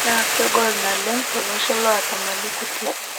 Naa kegol naleng tolosho lota mali kutii.